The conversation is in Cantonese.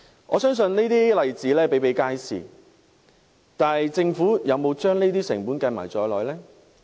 我相信這些例子比比皆是，但政府有否將這些成本計算在內呢？